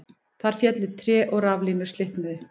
Þar féllu tré og raflínur slitnuðu